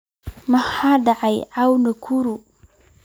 maxaa dhacaya caawa nakuru